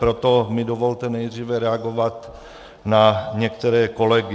Proto mi dovolte nejdříve reagovat na některé kolegy.